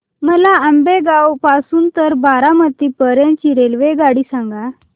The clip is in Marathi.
मला आंबेगाव पासून तर बारामती पर्यंत ची रेल्वेगाडी सांगा